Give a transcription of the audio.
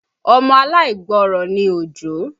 Ọmọ aláìgbọrọ̀ ní Òjó